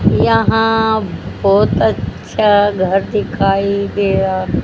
यहां बहुत अच्छा घर दिखाई दे रहा--